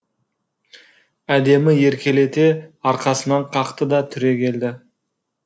әдемі еркелете арқасынан қақты да түрегелді